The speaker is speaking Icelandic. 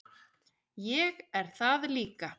Ég er það líka.